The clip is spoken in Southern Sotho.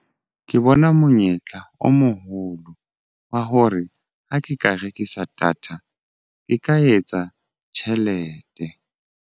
Ke bona monyetla o moholo wa hore ha ke ka rekisa data ke ka etsa tjhelete.